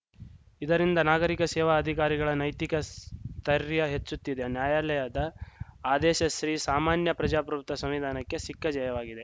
ಇದರಿಂದ ನಾಗರಿಕ ಶೇವಾ ಅಧಿಕಾರಿಗಳ ನೈತಿಕ ಸ್ಥರ್ಯ ಹೆಚ್ಚುತ್ತದೆ ನ್ಯಾಯಾಲಯದ ಆದೇಸ ಶ್ರೀಸಾಮಾನ್ಯ ಪ್ರಜಾಪ್ರಭುತ್ವ ಸಂವಿಧಾನಕ್ಕೆ ಸಿಕ್ಕ ಜಯವಾಗಿದೆ